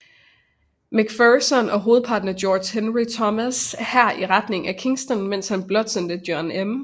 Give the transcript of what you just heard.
McPherson og hovedparten af George Henry Thomass hær i retning af Kingston mens han blot sendte John M